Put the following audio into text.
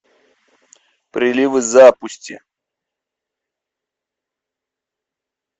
прилив запусти